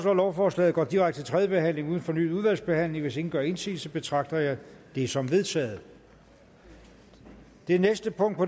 at lovforslaget går direkte til tredje behandling uden fornyet udvalgsbehandling hvis ingen gør indsigelse betragter jeg det som vedtaget det